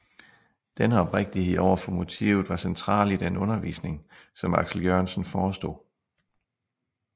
Denne oprigtighed over for motivet var central i den undervisning som Aksel Jørgensen forestod